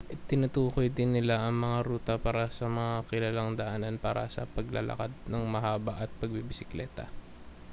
tinutukoy din nila ang mga ruta para sa mga kilalang daanan para sa paglalakad nang mahaba at pagbibisikleta